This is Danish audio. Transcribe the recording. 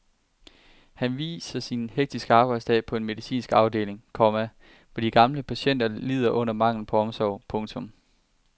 Hun viser sin hektiske arbejdsdag på en medicinsk afdeling, komma hvor de gamle patienter lider under manglen på omsorg. punktum